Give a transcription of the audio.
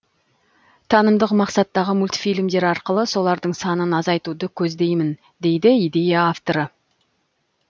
танымдық мақсаттағы мультфильмдер арқылы солардың санын азайтуды көздеймін дейді идея авторы